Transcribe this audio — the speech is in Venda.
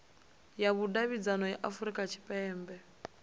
ya vhudavhidzano ya afurika tshipembe